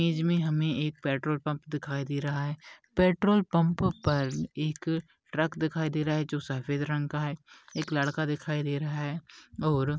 image मे हमे एक पेट्रोल पम्प दिखाई दे रहा है पेट्रोल पम्प पर एक ट्रक दिखाई दे रहा हे जो सफेद रंग का है एक लड़का दिखाई दे रहा है और --